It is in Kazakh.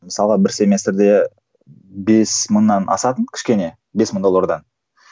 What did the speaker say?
мысалға бір семестрде бес мыңнан асатын кішкене бес мың доллардан